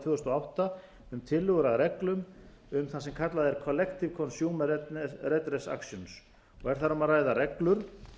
þúsund og átta um tillögur að reglum um það sem kallað er collective consumer redress actions og er þar um að ræða reglur